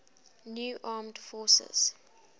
new armed forces